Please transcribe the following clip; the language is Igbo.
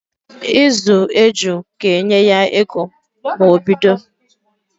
Ịzụ eju ga-enye ya ego ma o bido